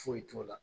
Foyi t'o la